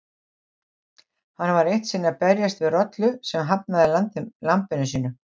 Hann var eitt sinn að berjast við rollu sem hafnaði lambinu sínu.